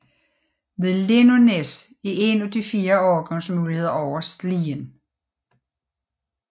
Ved Lindånæs er en af de fire overgangsmuligheder over Slien